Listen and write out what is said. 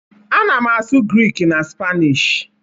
Ana m asụ Grik na Spanish